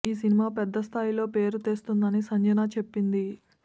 ఈ సినిమా పెద్ద స్థాయిలో పేరు తెస్తుందని సంజన చెప్పింది